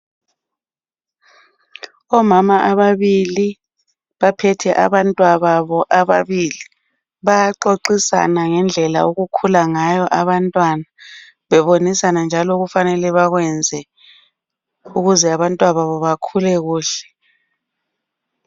Omama ababili baphethe abantwa babo ababili. Bayaxoxisana ngendlela okukhula ngayo abantwana bebonisana njalo okufanele bakwenze ukuze abantwa babo bakhule kuhle.